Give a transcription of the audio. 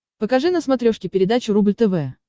покажи на смотрешке передачу рубль тв